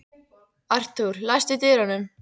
Arthúr, læstu útidyrunum.